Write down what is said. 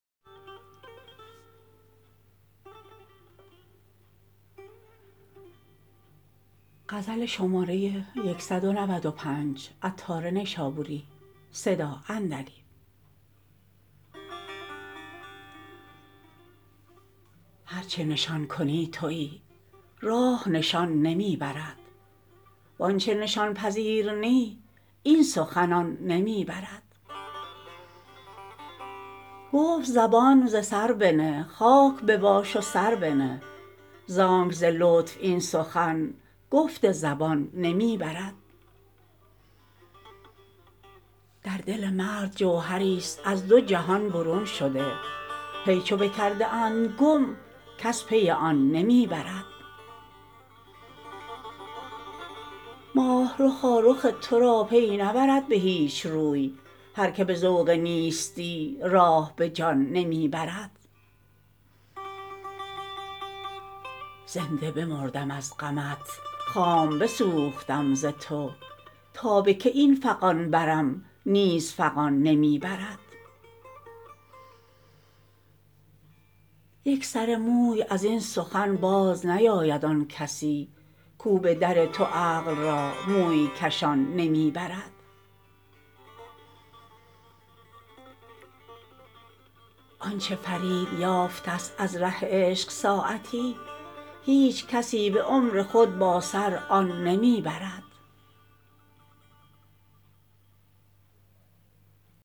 هرچه نشان کنی تویی راه نشان نمی برد وآنچه نشان پذیر نی این سخن آن نمی برد گفت زبان ز سر بنه خاک بباش و سر بنه زانک ز لطف این سخن گفت زبان نمی برد در دل مرد جوهری است از دوجهان برون شده پی چو بکرده اند گم کس پی آن نمی برد ماه رخا رخ تو را پی نبرد به هیچ روی هر که به ذوق نیستی راه به جان نمی برد زنده بمردم از غمت خام بسوختم ز تو تا به کی این فغان برم نیز فغان نمی برد یک سر موی ازین سخن باز نیابد آن کسی کو بدر تو عقل را موی کشان نمی برد آنچه فرید یافتست از ره عشق ساعتی هیچ کسی به عمر خود با سر آن نمی برد